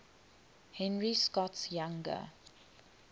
henry scott's younger